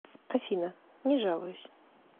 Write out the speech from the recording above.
афина не жалуюсь